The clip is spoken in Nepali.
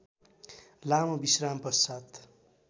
लामो विश्राम पश्चात्